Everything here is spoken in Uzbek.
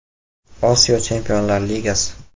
Osiyo Chempionlar Ligasi.